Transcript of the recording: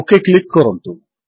okay click କରନ୍ତୁ